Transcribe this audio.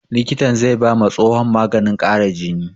Likitan zai ba ma tsohon maganin ƙara jini